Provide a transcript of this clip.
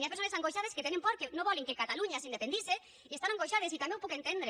hi ha persones angoixades que tenen por que no volen que catalunya s’independitze i estan angoixades i també ho puc entendre